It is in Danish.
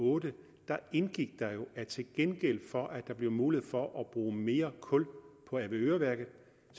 og otte indgik der jo at til gengæld for at der blev mulighed for at bruge mere kul på avedøreværket